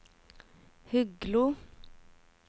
Huglo